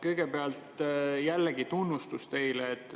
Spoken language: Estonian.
Kõigepealt jällegi tunnustus teile.